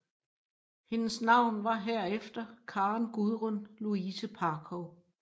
Hendes navn var herefter Karen Gudrun Louise Parkov